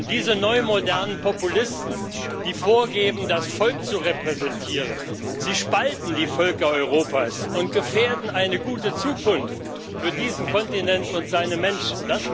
Diese neumodernen Populisten, die vorgeben, das Volk zu repräsentieren, sie spalten die Völker Europas und gefährden eine gute Zukunft für diesen Kontinent und seine Menschen.